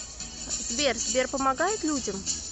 сбер сбер помогает людям